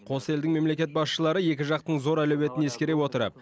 қос елдің мемлекет басшылары екі жақтың зор әлеуетін ескере отырып